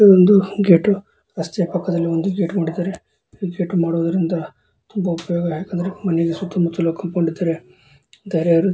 ಇದು ಒಂದು ಗೇಟ್ ರಸ್ತೆಯ ಪಕ್ಕದಲ್ಲಿ ಒಂದು ಗೇಟ್ ಈ ಗೇಟ್ ಮಾಡುವುದರಿಂದ ತುಂಬ ಉಪಯೋಗವಾಗುತ್ತದೆ ಮನೆಯ ಸುತ್ತಮುತ್ತಲು ಕೋಂಪೌಂಡ್ ಇದ್ದರೆ ಬೇರೆ ಯಾರು --